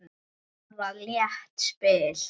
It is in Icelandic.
Það var létt spil.